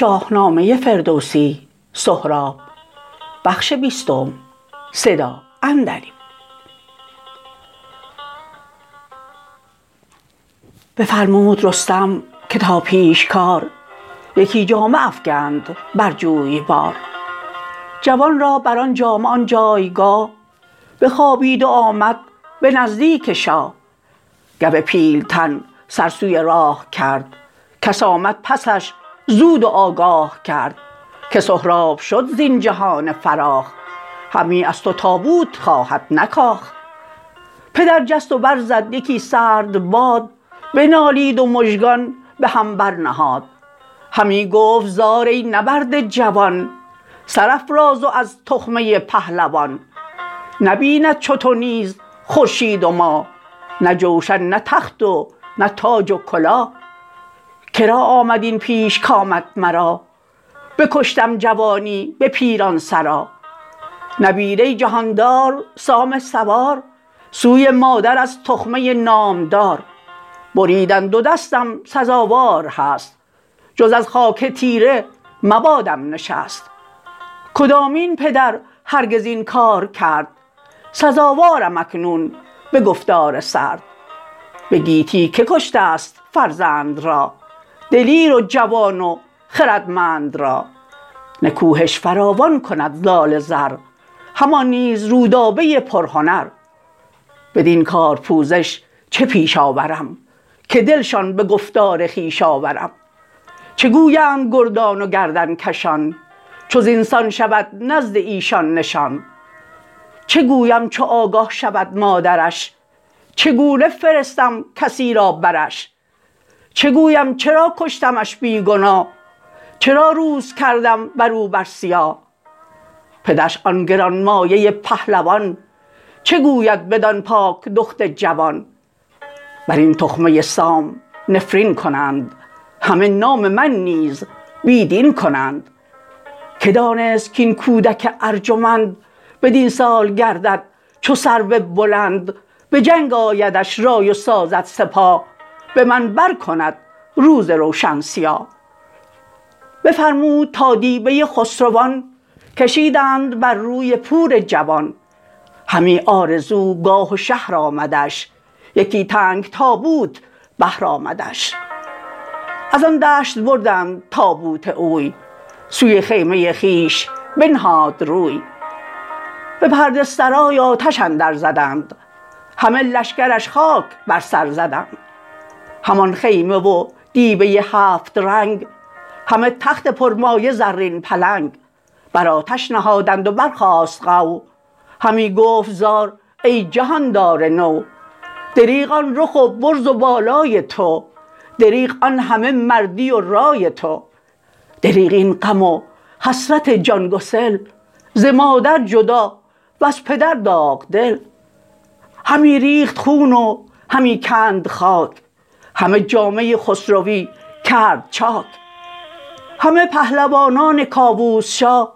بفرمود رستم که تا پیشکار یکی جامه افگند بر جویبار جوان را بران جامه آن جایگاه بخوابید و آمد به نزدیک شاه گو پیلتن سر سوی راه کرد کس آمد پسش زود و آگاه کرد که سهراب شد زین جهان فراخ همی از تو تابوت خواهد نه کاخ پدر جست و برزد یکی سرد باد بنالید و مژگان به هم بر نهاد همی گفت زار ای نبرده جوان سرافراز و از تخمه پهلوان نبیند چو تو نیز خورشید و ماه نه جوشن نه تخت و نه تاج و کلاه کرا آمد این پیش کامد مرا بکشتم جوانی به پیران سرا نبیره جهاندار سام سوار سوی مادر از تخمه نامدار بریدن دو دستم سزاوار هست جز از خاک تیره مبادم نشست کدامین پدر هرگز این کار کرد سزاوارم اکنون به گفتار سرد به گیتی که کشتست فرزند را دلیر و جوان و خردمند را نکوهش فراوان کند زال زر همان نیز رودابه پرهنر بدین کار پوزش چه پیش آورم که دل شان به گفتار خویش آورم چه گویند گردان و گردنکشان چو زین سان شود نزد ایشان نشان چه گویم چو آگه شود مادرش چه گونه فرستم کسی را برش چه گویم چرا کشتمش بی گناه چرا روز کردم برو بر سیاه پدرش آن گرانمایه پهلوان چه گوید بدان پاک دخت جوان برین تخمه سام نفرین کنند همه نام من نیز بی دین کنند که دانست کاین کودک ارجمند بدین سال گردد چو سرو بلند به جنگ آیدش رای و سازد سپاه به من برکند روز روشن سیاه بفرمود تا دیبه خسروان کشیدند بر روی پور جوان همی آرزوگاه و شهر آمدش یکی تنگ تابوت بهر آمدش ازان دشت بردند تابوت اوی سوی خیمه خویش بنهاد روی به پرده سرای آتش اندر زدند همه لشکرش خاک بر سر زدند همان خیمه و دیبه هفت رنگ همه تخت پرمایه زرین پلنگ برآتش نهادند و برخاست غو همی گفت زار ای جهاندار نو دریغ آن رخ و برز و بالای تو دریغ آن همه مردی و رای تو دریغ این غم و حسرت جان گسل ز مادر جدا وز پدر داغدل همی ریخت خون و همی کند خاک همه جامه خسروی کرد چاک همه پهلوانان کاووس شاه